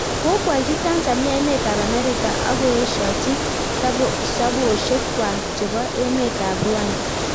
Kokawalchii Tanzania emet ap Amerika akoeshoji sabwoshek kwaak chepoo emeet ap Rwanda